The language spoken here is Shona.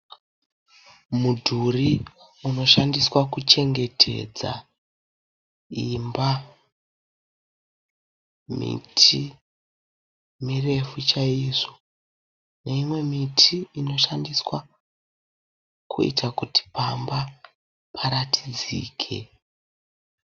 Mudhuri unoshandiswa kuchengetedza imba. Miti mirefu chaizvo neimwe miti inoshandiswa kuita kuti pamba paratidzike.